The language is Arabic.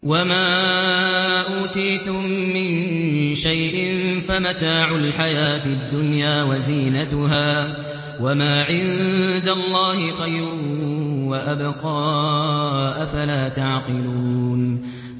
وَمَا أُوتِيتُم مِّن شَيْءٍ فَمَتَاعُ الْحَيَاةِ الدُّنْيَا وَزِينَتُهَا ۚ وَمَا عِندَ اللَّهِ خَيْرٌ وَأَبْقَىٰ ۚ أَفَلَا تَعْقِلُونَ